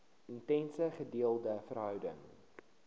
intense gedeelde verhouding